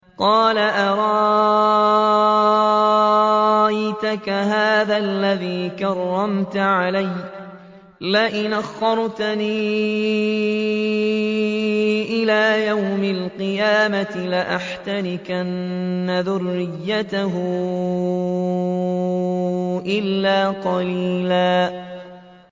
قَالَ أَرَأَيْتَكَ هَٰذَا الَّذِي كَرَّمْتَ عَلَيَّ لَئِنْ أَخَّرْتَنِ إِلَىٰ يَوْمِ الْقِيَامَةِ لَأَحْتَنِكَنَّ ذُرِّيَّتَهُ إِلَّا قَلِيلًا